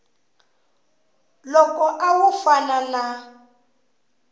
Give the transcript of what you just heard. loko a wu fana na